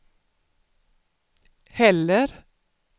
heller